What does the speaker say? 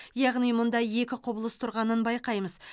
яғни мұнда екі құбылыс тұрғанын байқаймыз